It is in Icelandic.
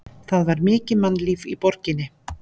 Það var mikið mannlíf í borginni.